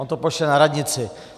On to pošle na radnici.